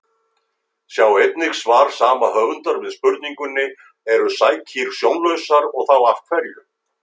Sjá einnig svar sama höfundar við spurningunni Eru sækýr sjónlausar og þá af hverju?